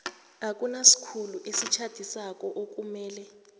akunasikhulu esitjhadisako okumele